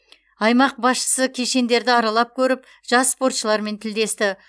аймақ басшысы кешендерді аралап көріп жас спортшылармен тілдесті